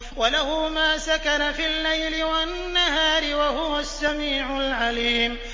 ۞ وَلَهُ مَا سَكَنَ فِي اللَّيْلِ وَالنَّهَارِ ۚ وَهُوَ السَّمِيعُ الْعَلِيمُ